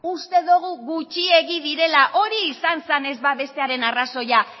uste dugu gutxiegi direla hori izan zen ez ba bestearen arrazoia